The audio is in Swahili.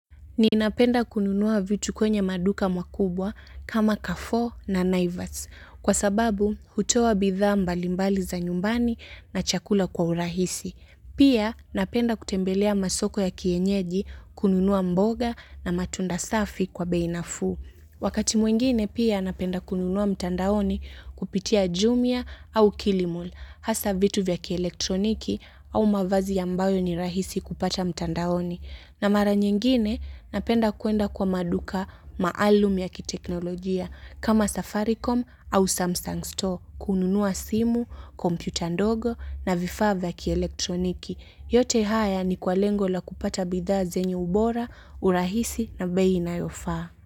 Ninapenda kununua vitu kwenye maduka makubwa kama carrefour na naivats kwa sababu hutoa bidhaa mbalimbali za nyumbani na chakula kwa urahisi. Pia napenda kutembelea masoko ya kienyeji kununua mboga na matunda safi kwa bei nafuu. Wakati mwingine pia napenda kununua mtandaoni kupitia jumia au kilimalll hasa vitu vya kielektroniki au mavazi ambayo ni rahisi kupata mtandaoni. Na mara nyingine napenda kuenda kwa maduka maalumi ya kiteknolojia kama Safaricom au Samsung Store kununua simu, kompyuta ndogo na vifaa vya kielektroniki. Yote haya ni kwa lengo la kupata bidhaa zenye ubora, urahisi na bei inayofaa.